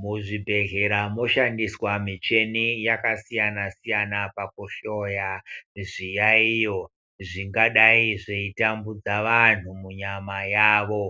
Muzvibhehlera moshandiswa muchini yakasiyana siyana pakuhloya zviyayiyo zvingadai zvetambudza vantu munyama yavo